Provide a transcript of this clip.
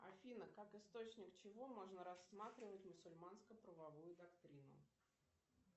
афина как источник чего можно рассматривать мусульманско правовую доктрину